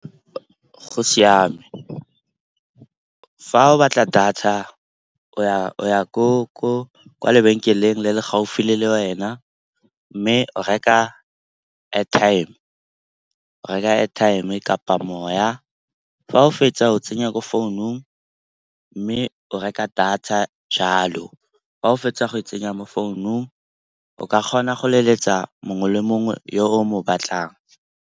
Go siame fa o batla data o ya kwa lebenkeleng le le gaufi le le wena mme o reka airtime-e kapa moya. Fa o fetsa o tsenya mo founung mme o reka data jalo. Fa o fetsa go e tsenya mo founung, o ka kgona go leletsa mongwe le mongwe yo o mo batlang.